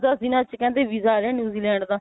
ਦੱਸ ਦੱਸ ਦਿਨਾ ਚ ਕਹਿੰਦੇ ਵੀਜ਼ਾ ਆ ਰਿਹਾ new zealand ਦਾ